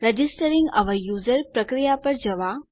registering our user પ્રક્રિયા પર જવા